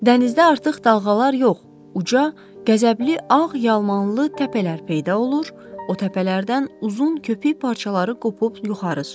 Dənizdə artıq dalğalar yox, uca, qəzəbli ağ yalmanlı təpələr peyda olur, o təpələrdən uzun köpük parçaları qopub yuxarı sıçrayırdı.